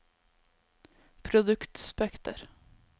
produktspekter